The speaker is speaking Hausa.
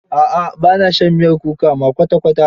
A'a ba na shan miyar kuka ma kwata kwata.